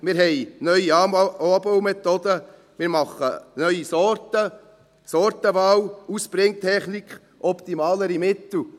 Wir haben neue Anbaumethoden, wir machen neue Sorten, Sortenwahl, Ausbringtechnik, optimalere Mittel.